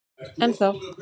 Enn þá.